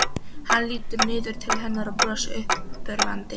Hann lítur niður til hennar og brosir uppörvandi.